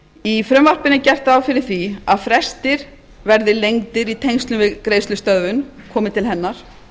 í frumvarpinu er gert ráð fyrir því að frestir verði lengdir í tengslum við greiðslustöðvun komi til hennar